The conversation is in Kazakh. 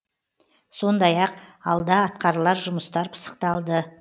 сондай ақ алда атқарылар жұмыстар пысықталды